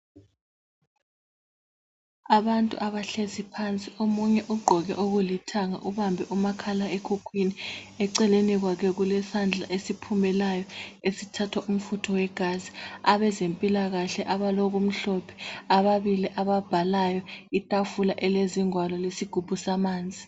Abantu abahlezi phansi ,omunye ugqoke okulithanga ubambe umakhala ekhukhwini .Eceleni kwakhe kulesandla esiphumelayo esithathwa umfutho wegazi. Abazempilakhe abaloku mhlophe ababili ababhalayo, itafula elezingwalo lesigubhu samanzi.